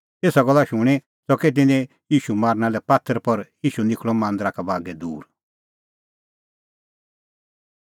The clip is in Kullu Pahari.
एसा गल्ला शूणीं च़कै तिन्नैं ईशू मारना लै पात्थर पर ईशू निखल़अ मांदरा का बागै दूर